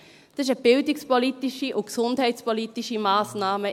Es ist in erster Linie eine bildungspolitische und gesundheitspolitische Massnahme.